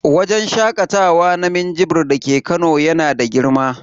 Wajen shakatawa na minjibir dake Kano yana da girma.